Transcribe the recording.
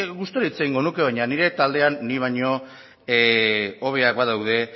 gustura hitz egingo nuke baina nire taldean ni baino hobeak badaude